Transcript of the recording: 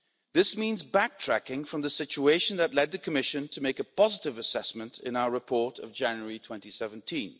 This means backtracking from the situation that led the Commission to make a positive assessment in our report of January 2017.